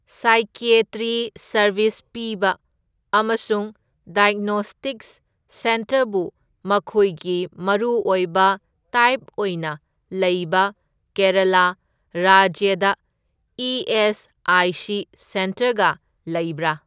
Psychiatry service ꯄꯤꯕ ꯑꯃꯁꯨꯡ diagnostics ꯁꯦꯟꯇꯔꯕꯨ ꯃꯈꯣꯏꯒꯤ ꯃꯔꯨ ꯑꯣꯏꯕ ꯇꯥꯏꯞ ꯑꯣꯏꯅ ꯂꯩꯕ ꯀꯦꯔꯂꯥ ꯔꯥꯖ꯭ꯌꯗ ꯏ.ꯑꯦꯁ.ꯑꯥꯏ.ꯁꯤ. ꯁꯦꯟꯇꯔꯒ ꯂꯩꯕ꯭ꯔꯥ?